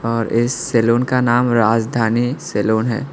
और इस सलून का नाम राजधानी सलून है।